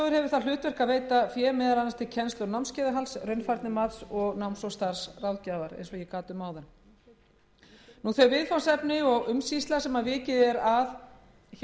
það hlutverk að veita fé meðal annars til kennslu og námskeiðahalds raunfærnimats og náms og starfsráðgjafar þau viðfangsefni og umsýsla sem vikið er að í a lið